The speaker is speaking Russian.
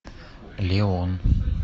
леон